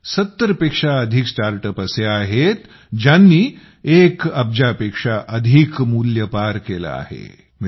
म्हणजे 70 पेक्षा अधिक स्टार्टअप असे आहेत ज्यांनी 1 अब्जा पेक्षा अधिक मूल्य पार केले आहेत